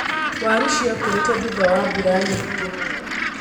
Waru cirakũrĩre thutha wa mbura nyingĩ.